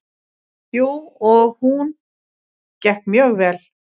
Jú, og hún gekk mjög vel.